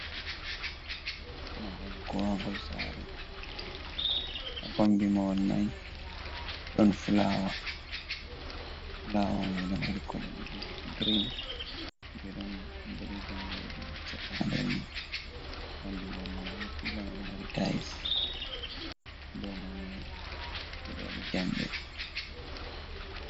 Mahol kowaagol sare, ha kombi mahol mai, ɗon flawa. Flawa mai ɗo waɗi kolo ɗiɗi, girin be ɗon boɗeejum. Seɗɗa nder mai ɓandu mahol mai bo pila mai ɗo mari tails. Dou mahol mai ɓe ɗo waɗi jamɗe.